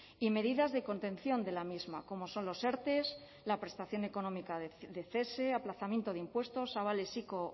y medidas de contención de la misma como son los erte la prestación económica de cese aplazamiento de impuestos avales ico